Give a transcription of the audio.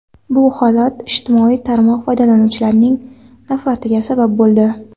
Bu holat ijtimoiy tarmoq foydalanuvchilarining nafratiga sabab bo‘ldi.